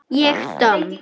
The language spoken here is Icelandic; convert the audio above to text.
Ég domm?